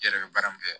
I yɛrɛ bɛ baara min kɛ